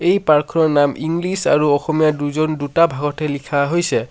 এই পাৰ্ক খনৰ নাম ইংলিছ আৰু অসমীয়া দুইজন দুটা ভাগতে লিখা হৈছে।